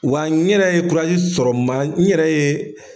Wa n yɛrɛ ye sɔrɔ ma n yɛrɛ ye.